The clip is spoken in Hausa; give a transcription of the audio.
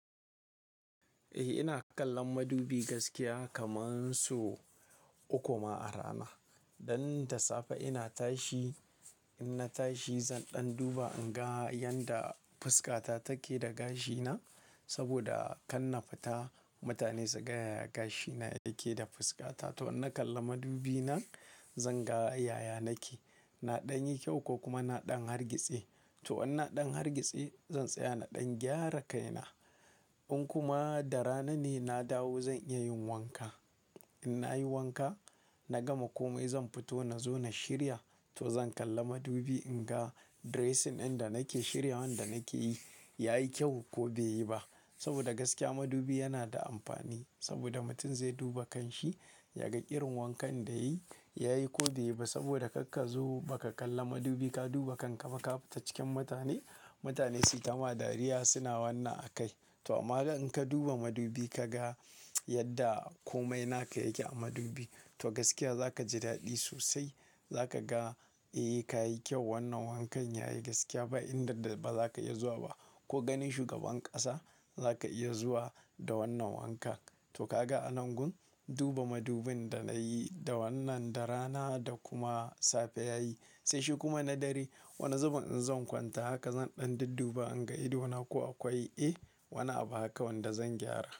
Eh ina kallon madubi gaskiya kaman sau uku ma a rana. Dan da safe ina tashi, in na tashi zan ɗan duba in ga yanda fuskata take da gashina. Saboda kar na fita mutane suga yaya gashina yake da fuskata. To in na kalla madubi na zan ga yaya nake. Na ɗan yi kyau ko kuma na ɗan hargitse. To in na ɗan hargitse zan tsaya na ɗan gyara kaina. In kuma da rana ne na dawo zan iya yin wanka. In nayi wanka na gama komai zan fito na zo na shirya, to zan kalla madubi in ga dressing ɗin da nake shiryawan da nake yi yayi kyau ko bai yi ba. Saboda gaskiya madubi yana da amfani saboda mutum zai duba kan shi, ya ga irin wankan da yayi yayi ko bai yi ba saboda karka zo baka kalla madubi ka duba kanka baka fita cikin mutane, mutane suyi ta ma dariya suna wannan a kai. To amma dai in ka duba madubi kaga yadda komai naka yake a madubi to gaskiya zaka ji daɗi sosai. Zaka ga eh kayi kyau wannan wankan yayi gaskiya ba inda da ba zaka iya zuwa ba. Ko ganin shugaban ƙasa zaka iya zuwa da wannan wanka. To kaga a nan gun duba madubin da nayi da wannan da rana da kuma safe yayi. Sai shi kuma na dare. Wani zubin in zan kwanta haka zan ɗan dadduba in ga idona ko akwai eh, wani abu haka wanda zan gyara.